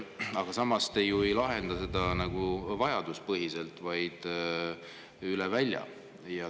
Aga samas, te ju ei lahenda seda nagu vajaduspõhiselt, vaid üle välja.